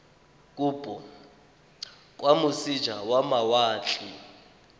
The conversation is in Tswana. kopo kwa moseja wa mawatle